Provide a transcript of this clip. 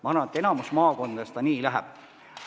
Ma arvan, et enamikus maakondades see nii läheb.